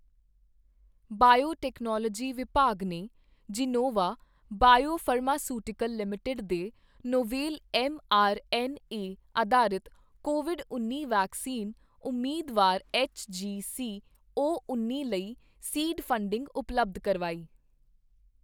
biotechnology ਵਿਭਾਗ ਨੇ Gennova biopharmaceutical Limited ਦੇ novel M R N A ਅਧਾਰਿਤ ਕੋਵਿਡ ਉੱਨੀ ਵੈਕਸੀਨ ਉਮੀਦਵਾਰ ਐੱਚ ਜੀ ਸੀ ਓ ਉੱਨੀ ਲਈ ਸੀਡ ਫੰਡਿੰਗ ਉਪਲੱਬਧ ਕਰਵਾਈ